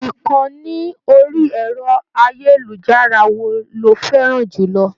Ìkànni orí ẹ̀rọ-ayélujára wo ló fẹ́ràn jù lọ?